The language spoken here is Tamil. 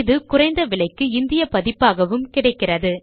இது குறைந்த விலைக்கு இந்திய பதிப்பாகவும் கிடைக்கிறது